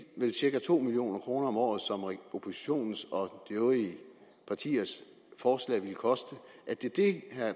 vel cirka to million kroner om året som oppositionen og de øvrige partiers forslag ville koste